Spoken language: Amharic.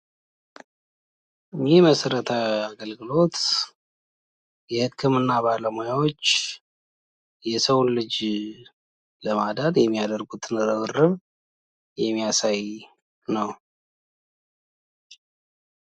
ይህ መሰረተ አገልግሎት የህክምና ባለሙያዎች የሰውን ልጅ ለማዳን የማያደርጉትን ርብርብ የሚያሳይ ነው።